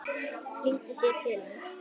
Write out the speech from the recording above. Flýtir sér til hans.